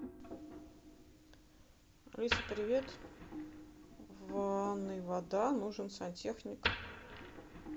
алиса привет в ванной вода нужен сантехник